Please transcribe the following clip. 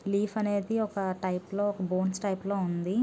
ఆకు అనేది ఒక టైప్ లో . ఓక బోన్స్ టైప్ లో ఉంది.